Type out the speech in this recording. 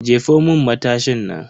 Jefo mun matashin nan.